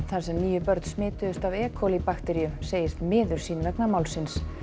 þar sem níu börn smituðust af e bakteríu segist miður sín vegna málsins